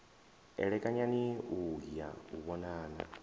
elekanyani u ya u vhonana